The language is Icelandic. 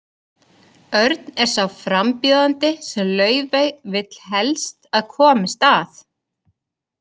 Örn er sá frambjóðandi sem Laufey vill helst að komist að.